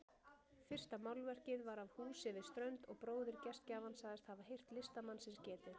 Fyrsta málverkið var af húsi við strönd og bróðir gestgjafans sagðist hafa heyrt listamannsins getið.